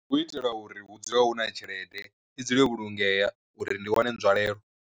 U itela uri hu dzule huna tshelede, i dzule yo vhulungeya uri ndi wane nzwalelo.